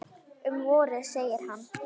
Um vorið, segir hann.